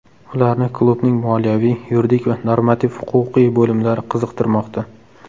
Ularni klubning moliyaviy, yuridik va normativ-huquqiy bo‘limlari qiziqtirmoqda.